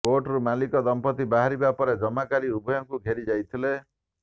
କୋର୍ଟରୁ ମାଲିକ ଦମ୍ପତି ବାହାରିବା ପରେ ଜମାକାରୀ ଉଭୟଙ୍କୁ ଘେରି ଯାଇଥିଲେ